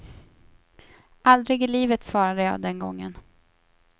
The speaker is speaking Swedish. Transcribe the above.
Aldrig i livet svarade jag den gången.